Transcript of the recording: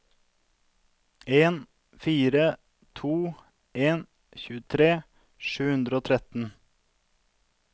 en fire to en tjuetre sju hundre og tretten